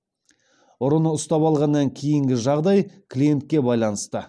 ұрыны ұстап алғаннан кейінгі жағдай клиентке байланысты